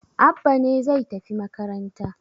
Abba ne zai tafi makaranta